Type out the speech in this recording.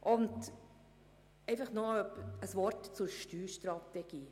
Noch ein Wort zu Steuerstrategie: